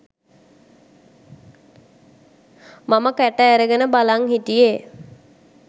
මම කට ඇරගෙන බලන් හිටියේ.